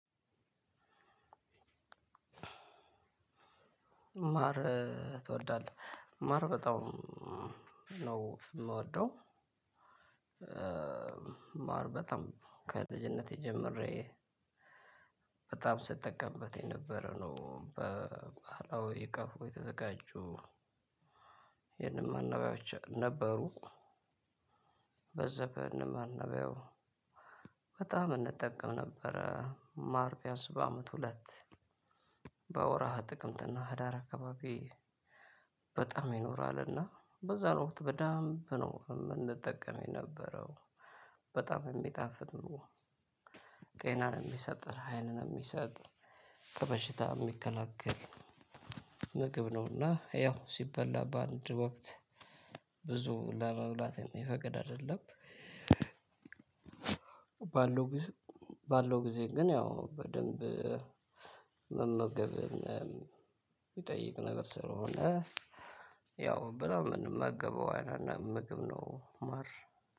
ማር ትወርዳለህ ማር በጣም ነው የምወደው። ማር በጣም ከልጅነቴ ጀምሬ በጣም ስጠቀምበት የነበረ ነው በባህላዊ ቀፎ የተዘጋጁ የንብ መኖሪያዎች ነበሩ። በጣም እንጠቀም ነበረ ማርቢያንስ በአመት ሁለት በወርሃ ጥቅምትና ህዳር አካባቢ። በጣም ይኖራል እና በዛን ወቅት በደንብ ነው የምንጠቀመው የነበረው። በጣም የሚጣፍጥ ነው። ጤናን የሚሰጥ ኃይልን የሚሰጥ ከበሽታ የሚከላከል ምግብ ነውና ያው ሲበላ በአንድ ወቅት ብዙ ለመብላት የሚፈቅድ አይደለም። ባለው ጊዜ ግን ያው በደንብ መመገብ የሚጠይቅ ነገር ስለሆነ። ያው በደንብ የምንመገበው አይነት ምግብ ነው። ማር